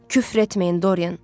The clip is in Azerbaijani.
Küfr etməyin, Dorian.